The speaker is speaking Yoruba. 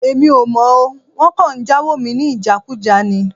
Èmi ò mọ̀ o. Wọ́n kàn ń jáwo mi ní ìjákùjá ni.